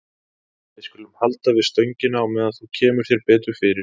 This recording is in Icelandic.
Við skulum halda við stöngina á meðan þú kemur þér betur fyrir.